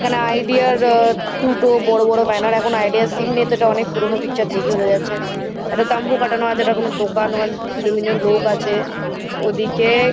এখানে আইডিয়া -র আ দুটো বড়ো বড়ো ব্যানার এখন আইডিয়া -র সিম নেই তো এটা অনেক পুরোনো পিকচার দেখেই বোঝা যাচ্ছে একটা তাম্বু খাটানো আছে এটা কোনো দোকান মানে দুজন তিনজন লোক আছে ওদিকে--